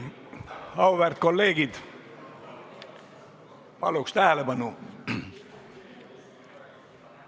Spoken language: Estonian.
Auväärt kolleegid, palun tähelepanu!